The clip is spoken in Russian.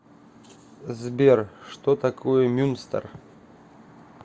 сбер что такое мюнстер